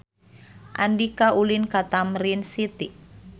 Andika ulin ka Tamrin City